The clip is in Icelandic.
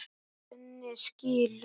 Svenni skilur.